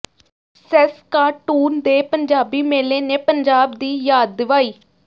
Saskatoon ਦੇ ਪੰਜਾਬੀ ਮੇਲੇ ਨੇ ਪੰਜਾਬ ਦੀ ਯਾਦ ਦਿਵਾਈ